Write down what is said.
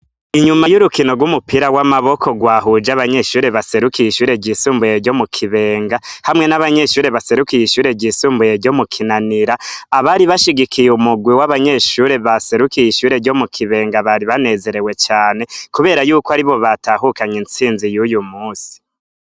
Inyuma y'urukino rw'umupira w'amaboko rwahuje abanyeshure baserukiye ishure ryisumbuye ryo mu kibenga hamwe n'abanyeshure baserukiye ishure ryisumbuye ryo mu kinanira abari bashigikiye umugwi w'abanyeshure baserukiye ishure ryo mu kibenga bari banezerewe cane, kubera yuko ari bo batahukanye intsinzi y'uyu musi.